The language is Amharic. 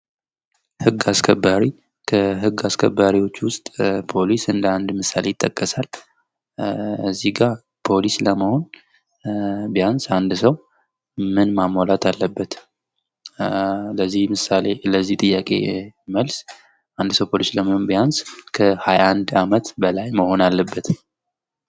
ህግ አስከባሪ ከህግ አስከባሪዎች ውስጥ ፖሊስ እንደ አንድ ምሳሌ ይጠቀሳል። እዚህጋ ፖሊስ ለመሆን ቢያንስ አንድ ሰው ምን ማሟላት አለበት? ምሳሌ ለዚህ ጥያቄ መልስ አንድ ሰው ፖሊስ ለመሆን ቢያንስ ከ 21 አመት በላይ መሆን አለበት።